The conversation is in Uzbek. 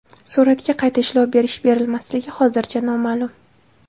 Suratga qayta ishlov berish-berilmasligi hozircha noma’lum.